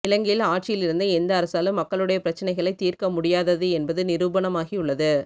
இலங்கையில் ஆட்சியில் இருந்த எந்த அரசாலும் மக்களுடைய பிரச்சனைகளை தீர்க்க முடியாதது என்பது நிரூபணமாகியுள்ளது